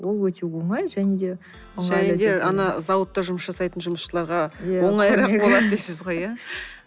ол өте оңай және де және де ана зауытта жұмыс жасайтын жұмысшыларға оңайырақ болдады дейсіз ғой иә